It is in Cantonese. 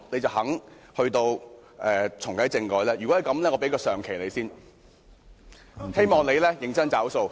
如果是，我願意先給她"上期"，希望她認真"找數"。